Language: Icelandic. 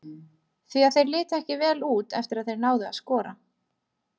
Því að þeir litu ekki vel út eftir að þeir náðu að skora.